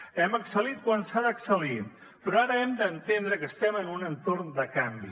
hem excel·lit quan s’ha d’excel·lir però ara hem d’entendre que estem en un entorn de canvi